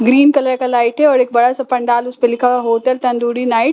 green colour का light है और एक बड़ा सा पंडाल उसपे लिखा हुआ है होटल तंदूरी नाइट्स --